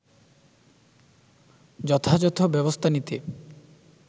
যথাযথ ব্যবস্থা নিতে